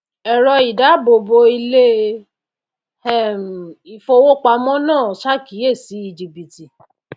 ẹ̀rọ ìdáàbòbò ilé um ìfówópamọ́ náà ṣàkíyèsí jìbìtì